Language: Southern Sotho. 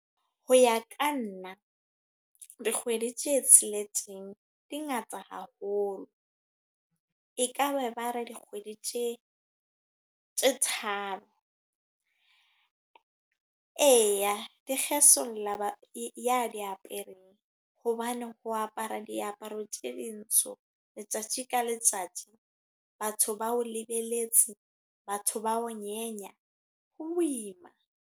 Ho ya ka nna. Dikgwedi tse tsheletseng di ngata haholo. E ka be ba re dikgwedi tse, tse tharo. Eya, di kgesolla ya diapereng. Hobane ho apara diaparo tse dintsho letsatsi ka letsatsi. Batho ba o lebeletse, batho ba o nyenya. Ho boima